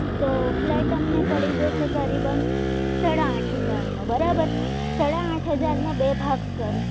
તો ફ્લેટ તમને પડી અમને પડી જશે કરે બંધ સાડા આઠ હજાર નો બરાબર સાદા આથ હજારમાં બે ભાગ કર